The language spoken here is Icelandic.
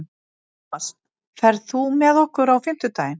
Tómas, ferð þú með okkur á fimmtudaginn?